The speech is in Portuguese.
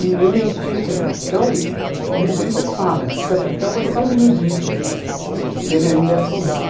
E o meu tio que é capitão, ele sempre fala que capitão é São Benedito, que ele ainda é soldado.